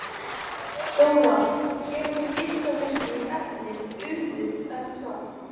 Þóra: Hér voru geislavirku efnin urðuð, ekki satt?